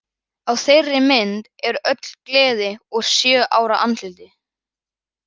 Á þeirri mynd er öll gleði úr sjö ára andliti.